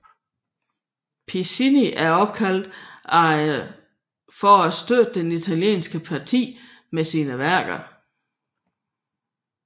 Piccinni blev indkaldt for at støtte det italienske parti med sine værker